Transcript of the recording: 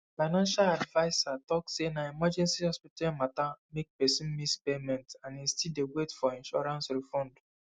financial adviser talk say na emergency hospital matter make person miss payment and e still dey wait for insurance refund